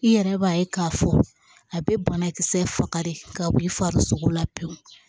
I yɛrɛ b'a ye k'a fɔ a bɛ banakisɛ faga de ka b'i fari la pewu